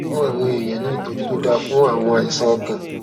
fún àwọn èèyàn ní ìtójú tó dáa fún àwọn àìsàn ọkàn